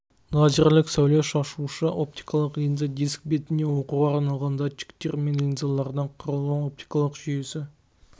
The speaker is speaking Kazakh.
лазерлік сәуле шашушы оптикалық линза диск бетінен оқуға арналған датчиктер мен линзалардан құралған оптикалық жүйесі